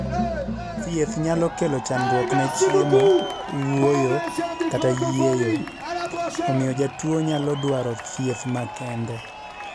Thieth nyalo kelo chandruok ne chiemo, wuoyo, kata yieyo, omiyo jatuwo nyalo dwaro thieth makende